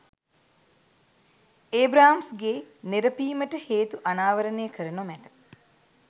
ඒබ්‍රාම්ස්ගේ නෙරපීමට හේතු අනාවරණය කර නොමැත